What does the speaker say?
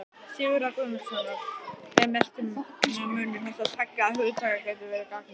Sigurðar Guðmundssonar hve merkingarmunur þessara tveggja hugtaka getur verið gagnger.